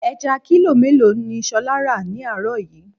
Ẹja kílò mélòó ni ṣolá ra ni àárọ̀ yìí?